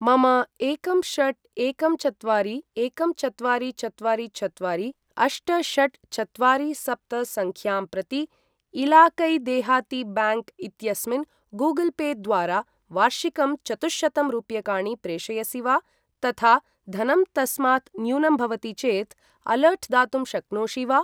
मम एकं षट् एकं चत्वारि एकं चत्वारि चत्वारि चत्वारि अष्ट षट् चत्वारि सप्त संख्यां प्रति इलाकै देहाती ब्याङ्क् इत्यस्मिन् गूगल् पे द्वारा वार्षिकम् चतुःशतं रूप्यकाणि प्रेषयसि वा? तथा धनं तस्मात् न्यूनं भवति चेत् अलर्ट् दातुं शक्नोषि वा?